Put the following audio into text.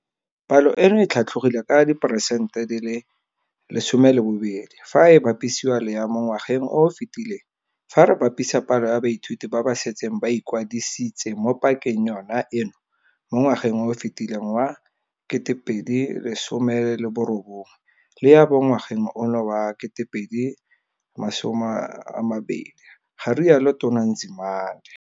Palo eno e tlhatlogile ka diperesente 20 fa e bapisiwa le ya mo ngwageng o o fetileng fa re bapisa palo ya baithuti ba ba setseng ba ikwadisitse mo pakeng yona eno mo ngwageng o o fetileng wa 2019 le ya ba mo ngwageng ono wa 2020, ga rialo Tona Nzimande.